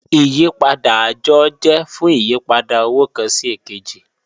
Ìyìpadà ajọ jẹ̀ fún ìyìpadà owo kan sí èkèjì